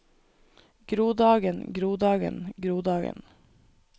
grodagen grodagen grodagen